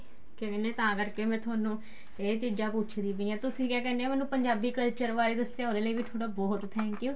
ਕਿਆ ਕਹਿਨੇ ਹਾਂ ਮੈਂ ਤਾਂ ਕਰਕੇ ਥੋਨੂੰ ਇਹ ਚੀਜ਼ਾਂ ਪੁੱਛਦੀ ਪਈ ਹਾਂ ਤੁਸੀਂ ਕਿਆ ਕਹਿਨੇ ਹਾਂ ਮੈਨੂੰ ਪੰਜਾਬੀ culture ਬਾਰੇ ਦੱਸਿਆ ਉਹਦੇ ਲਈ ਵੀ ਥੋਡਾ ਬਹੁਤ thankyou